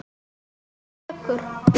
Það tekur